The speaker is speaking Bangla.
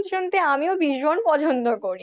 শুনতে আমিও ভীষণ পছন্দ করি আমার খুব ভালো লাগে,